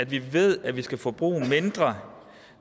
vi ved at vi skal forbruge mindre